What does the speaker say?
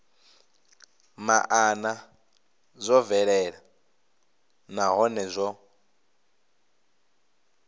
maana zwo bvelela nahone zwo